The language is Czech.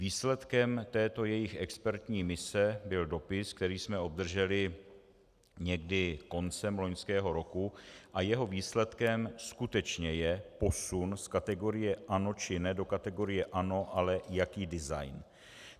Výsledkem této jejich expertní mise byl dopis, který jsme obdrželi někdy koncem loňského roku, a jeho výsledkem skutečně je posun z kategorie ano či ne do kategorie ano, ale jaký design.